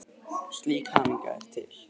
Slík hamingja er til.